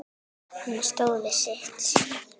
Hann stóð við sitt.